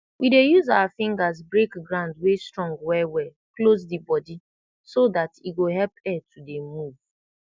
we dey use our fingas break ground wey strong welwel close d body so dat e go help air to dey move